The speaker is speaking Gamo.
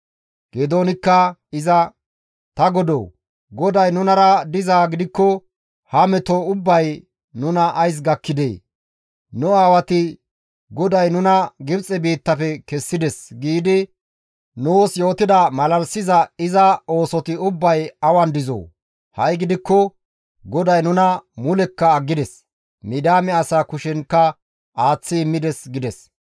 Geedoonikka iza, «Ta godoo! GODAY nunara dizaa gidikko ha meto ubbay nuna ays gakkidee? Nu aawati, ‹GODAY nuna Gibxe biittafe kessides› giidi nuus yootida malalisiza iza oosoti ubbay awan dizoo? Ha7i gidikko GODAY nuna mulekka aggides; Midiyaame asaa kushenkka aaththi immides» gides.